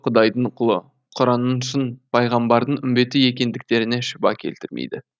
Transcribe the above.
құдайдың құлы құранның шын пайғамбардың үмбеті екендіктеріне шүбә келтірмейді